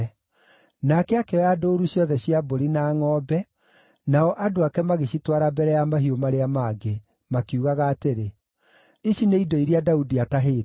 Nake akĩoya ndũũru ciothe cia mbũri na ngʼombe, nao andũ ake magĩcitwara mbere ya mahiũ marĩa mangĩ, makiugaga atĩrĩ, “Ici nĩ indo iria Daudi aatahĩte.”